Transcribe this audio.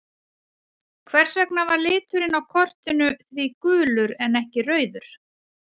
Hvers vegna var liturinn á kortinu því gulur en ekki rauður?